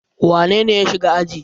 Wane ne ya shiga aji?